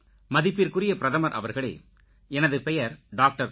மதிப்பிற்குரிய பிரதமர் அவர்களே எனது பெயர் டாக்டர்